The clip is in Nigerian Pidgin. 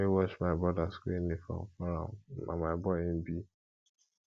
na me wash my broda skool uniform for am na my boy im be